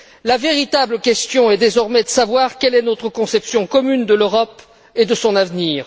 La véritable question est, désormais, de savoir quelle est notre conception commune de l'Europe et de son avenir.